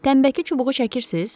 Tənbəki çubuğu çəkirsiniz?